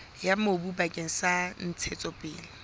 ya mobu bakeng sa ntshetsopele